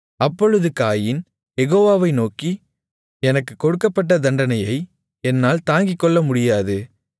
அப்பொழுது காயீன் யெகோவாவை நோக்கி எனக்குக் கொடுக்கப்பட்ட தண்டனையை என்னால் தாங்கிக்கொள்ளமுடியாது